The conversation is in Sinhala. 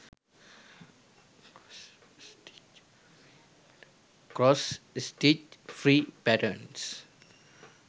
cross stich free patterns